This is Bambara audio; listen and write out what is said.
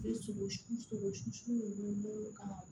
sogo sogo minnu ka